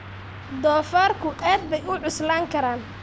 Doofaarku aad bay u cuslaan karaan.